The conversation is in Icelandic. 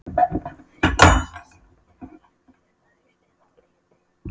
Friðrós, syngdu fyrir mig „Haustið á liti“.